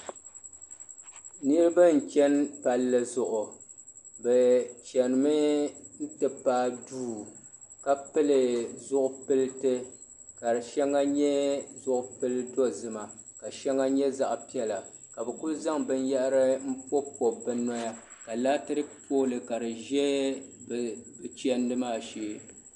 Niriba n cheni palli zuɣu bɛ chenimi ti paagi duu ka pili zipilti ka di sheŋa nyɛ zipil dozima ka sheŋa nyɛ zaɣa piɛla ka bɛ kuli zaŋ binyeri m pobi pobi bɛ noya ka laatiriki pooli ka di za bɛ chendi maa shee.